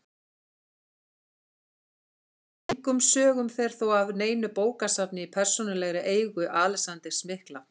Engum sögum fer þó af neinu bókasafni í persónulegri eigu Alexanders mikla.